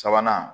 Sabanan